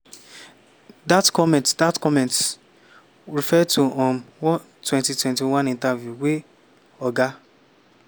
dat comments dat comments refer to um one 2021 interview wey oga